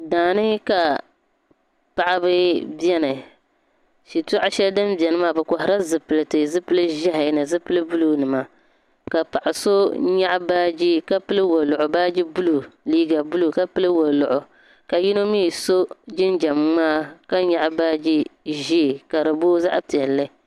Daa ni ka paɣiba beni shitoɣu shɛli din beni maa bɛ kɔhirila zipiliti zipili ʒɛhi ni zipili buluunima ka paɣa so nyaɣi baaji ka pili waluɣu baaji buluu liiga buluu ka pili waluɣu ka yino mi so jinjam ŋmaa ka nyaɣi baaji ʒee.